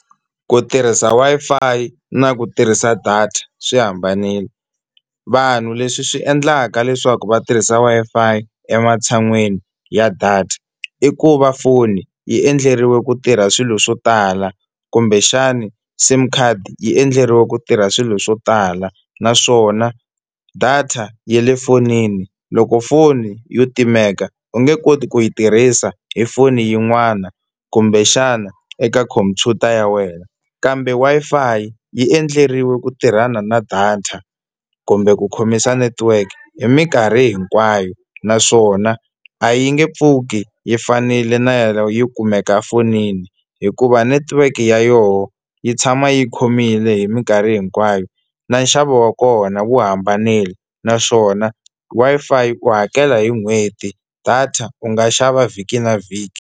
Ku tirhisa Wi-Fi na ku tirhisa data swi hambanile. Vanhu leswi swi endlaka leswaku va tirhisa Wi-Fi ematshan'wini ya data i ku va foni yi endleriwe ku tirha swilo swo tala kumbexani sim card yi endleriwe ku tirha swilo swo tala, naswona data ya le fonini loko foni yo timeka u nge koti ku yi tirhisa hi foni yin'wana kumbexana eka khompyuta ya wena. Kambe Wi-Fi yi endleriwe ku tirhana na data kumbe ku khomisa network hi minkarhi hinkwayo, naswona a yi nge pfuki yi fanile na yo kumeka fonini hikuva network ya yona yi tshama yi khomile hi mikarhi hinkwayo, na nxavo wa kona wu hambanile naswona Wi-Fi u hakela hi n'hweti data u nga xava vhiki na vhiki.